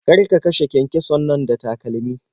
Kar ka kashe kyankyason nan da takalmi.